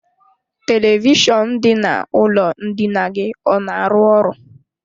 Televishọnụ dị n'ụlọ ndina gị ọ na-arụ ọrụ?